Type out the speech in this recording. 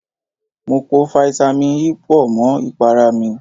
Mo po fáítámì E pọ̀ mọ́ ìpara mi.